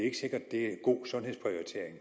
er en god sundhedsprioritering